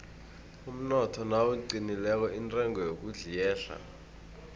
umnotho nawuqinileko intengo yokudla iyehla